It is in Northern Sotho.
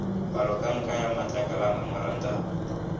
palomoka ya matlakala a memorantamo